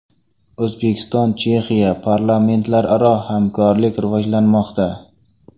O‘zbekiston – Chexiya: parlamentlararo hamkorlik rivojlanmoqda.